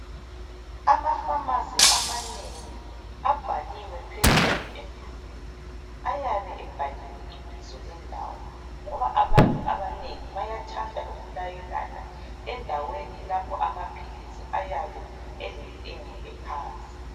Ama pharmacy amanengi abhaliwe phezulu emdulwini, ayabe ebhaliwe ibizo lendawo ngoba abantu abanengi bayathanda ukulayelana endaweni lapho amaphilisi ayabe elentengo ephansi.